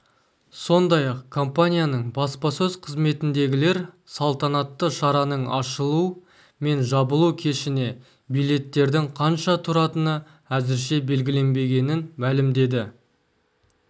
сондай-ақ компанияның баспасөз қызметіндегілер салтанатты шараның ашылу мен жабылу кешіне билеттердің қанша тұратыны әзірше белгіленбегенін мәлімдеді